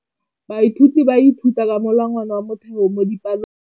Baithuti ba ithuta ka molawana wa motheo mo dipalong.